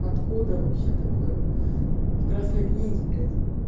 откуда вообще такое в красной книге блять